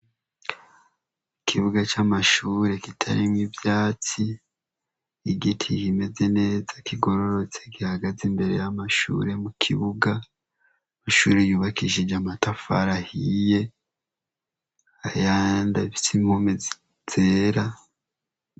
Ikibuga c'amashure kitarimwo ivyatsi. Igiti kimeze neza kigororotse gihagaze imbere y'amashure mu kibuga. Ishure yubakishije amatafari ahiye ayandi afise inkomezi zera.